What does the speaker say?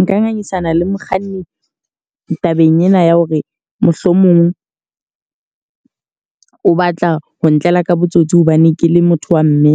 Nka ngangisana le mokganni tabeng ena ya hore mohlomong o batla ho ntlela ka botsotsi hobane ke le motho wa mme